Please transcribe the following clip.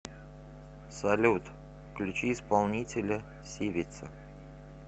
салют включи исполнителя сивица